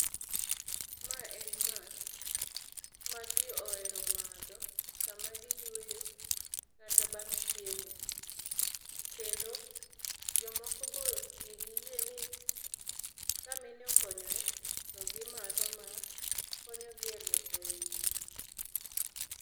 Mae en math ma jii ohero madho sama giyweyo kata bang' chiemo. Kendo jomoko bo nigi yie ni ka mine okonyore to gimadho ma konyogi e luoko ich